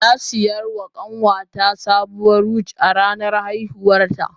Na saya wa kanwata sabuwar wig a ranar haihuwarta